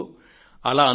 ఇదిగో అలా